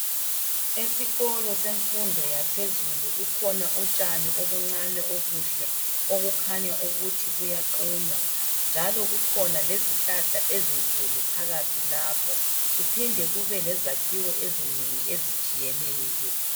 Esikolo semfundo yaphezulu kukhona utshani obuncane obuhle obukhanya ukuthi buyaqunywa njalo kukhona lezihlahla ezinkulu phakathi lapho kuphinde kube lezakhiwo ezinengi ezitshiyeneyo.